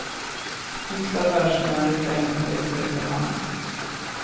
Hyfsad vers med en refräng som växer efterhand.